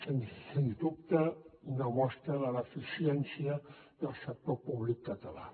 sens dubte una mostra de l’eficiència del sector públic català